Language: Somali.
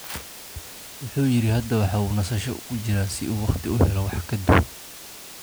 Wuxuu yiri: Hadda waa uu nasasho ku jiraa si uu waqti u helo wax ka duwan.